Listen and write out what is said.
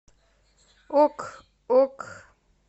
ок ок